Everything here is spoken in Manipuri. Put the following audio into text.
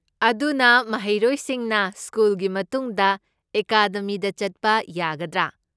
ꯑꯗꯨꯅ ꯃꯍꯩꯔꯣꯏꯁꯤꯡꯅ ꯁ꯭ꯀꯨꯜꯒꯤ ꯃꯇꯨꯡꯗ ꯑꯦꯀꯥꯗꯦꯃꯤꯗ ꯆꯠꯄ ꯌꯥꯒꯗ꯭ꯔꯥ?